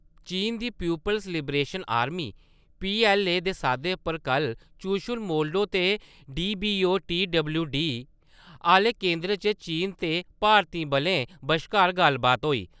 चीन दी peoples liberation army- पीऐल्लए दे साद्दे पर कल चुशुल-मोल्डो ते डीबीओ- टी.डब्ल्यू.डी. आह्‌ले केंद्र च चीन ते भारती बलें बशकार गल्लबात होई।